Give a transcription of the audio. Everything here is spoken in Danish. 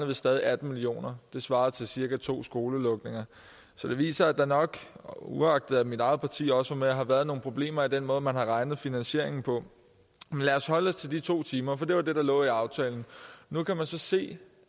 vi stadig atten millioner det svarer til cirka to skolelukninger så det viser at der nok uagtet at mit eget parti også var med har været nogle problemer i den måde man har regnet finansieringen på men lad holde os til de to timer for det var det der lå i aftalen nu kan man så se